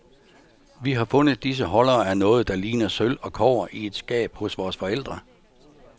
Vi har fundet disse holdere af noget, der ligner sølv og kobber i et skab hos vores forældre.